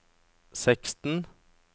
seksten